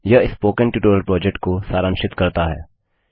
यह spoken tutorial project को सारांशित करता है